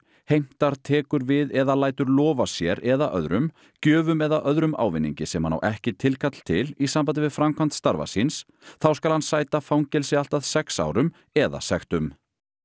heimtar tekur við eða lætur lofa sér eða öðrum gjöfum eða öðrum ávinningi sem hann á ekki tilkall til í sambandi við framkvæmd starfa síns þá skal hann sæta tveggja fangelsi allt að sex árum eða sektum